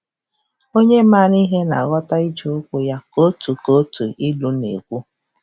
“Onye maara ihe na-aghọta ijeụkwụ ya,” ka otu ka otu ilu na-ekwu.